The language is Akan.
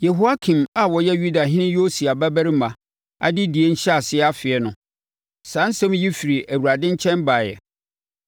Yehoiakim a ɔyɛ Yudahene Yosia babarima adedie ahyɛaseɛ mfeɛ no, saa asɛm yi firi Awurade nkyɛn baeɛ: